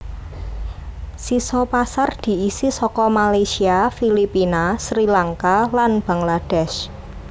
Sisa pasar diisi saka Malaysia Filipina Sri Lanka lan Bangladesh